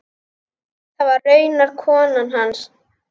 Það var raunar konan hans.